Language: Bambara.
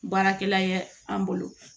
Baarakɛla ye an bolo